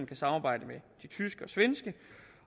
kan samarbejde med de tyske og svenske